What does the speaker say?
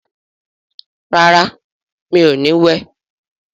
rà rá mi'o ní wẹ.